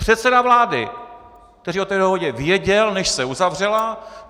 Předseda vlády, který o té dohodě věděl, než se uzavřela.